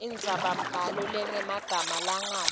indzabambhalo lenemagama langabi